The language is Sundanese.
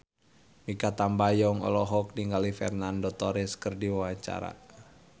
Mikha Tambayong olohok ningali Fernando Torres keur diwawancara